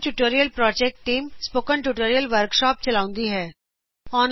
spoken tutorial project team spoken tutorial workshop ਚਲਾਉਂਦੀ ਹੈ